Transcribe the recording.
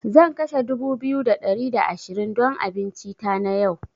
Zan kashe dubu biyu da ɗari da ashirin don abincin tana yau.